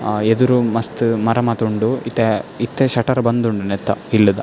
ಅಹ್ ಎದುರು ಮಸ್ತ್ ಮರ ಮಾತ ಉಂಡು ಇತ್ತೆ ಇತ್ತೆ ಶಟರ್ ಬಂದ್ ಉಂಡು ನೆತ್ತ ಇಲ್ಲ್ ದ .